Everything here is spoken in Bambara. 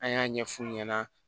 An y'a ɲɛf'u ɲɛna